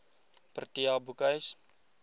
protea boekhuis